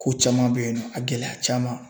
Ko caman bɛyinnɔ a gɛlɛya caman.